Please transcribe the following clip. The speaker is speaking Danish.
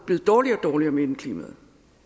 blevet dårligere og dårligere med indeklimaet